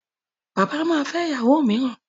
Bàbá ma fẹ́ ìyàwó mìíràn.